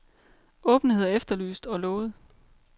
Åbenhed er efterlyst, og lovet.